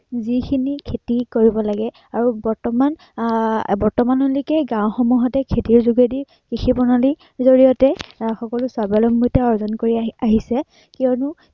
যি খিনি খেতি কৰিব লাগে, আৰু বৰ্তমান আহ বৰ্তমানলৈকে গাওঁসমূহতে খেতিৰ যোগেদি কৃষি প্ৰণালীৰ জড়িয়তে আহ সকলো স্বাৱলম্বিতা অৰ্জন কৰি আহি~আহিছে, কিয়নো